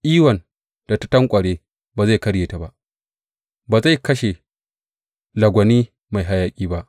Iwan da ta tanƙware ba zai karye ba, ba zai kashe lagwani mai hayaƙi ba.